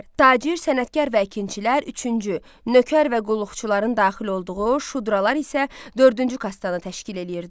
Tacir, sənətkar və əkinçilər üçüncü, nökər və qulluqçuların daxil olduğu şudralar isə dördüncü kastanı təşkil eləyirdi.